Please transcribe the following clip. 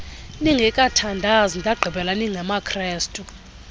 ningekathandazi ndagqibela ningamakrestu